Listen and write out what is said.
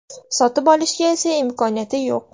Sotib olishga esa imkoniyati yo‘q.